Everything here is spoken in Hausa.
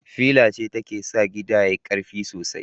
Fila ce take sa gida yayi karfi sosai